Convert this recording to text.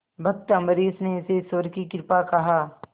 भक्त अम्बरीश ने इसे ईश्वर की कृपा कहा